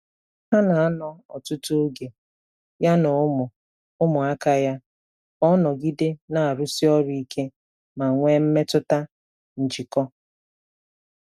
Ọ na-anọ ọtutu oge, ya na ụmụ ụmụ aka ya ka ọ nọgide na-arụsi ọrụ ike ma nwee mmetụta njikọ.